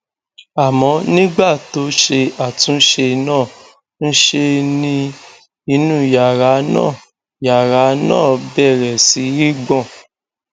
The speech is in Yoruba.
àmọ nígbà tó ṣe àtúnṣe náà ńṣe ni inú yàrá náà yàrá náà bẹrẹ sí í gbọn